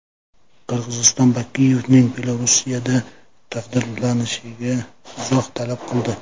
Qirg‘iziston Bakiyevning Belorussiyada taqdirlanishiga izoh talab qildi.